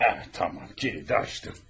Hə, tamam, kilidi açdım.